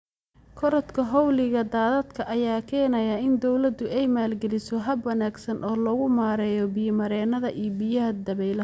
Korodhka xawliga daadadka ayaa keenaya in dawladdu ay maalgeliso hab wanaagsan oo lagu maareeyo biyo-mareennada iyo biyaha dabaylaha.